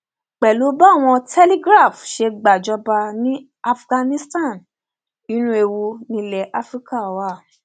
pẹlú bí báwọn telegraph ṣe gbàjọba ní afghanistan inú ewu nílẹ afrika wà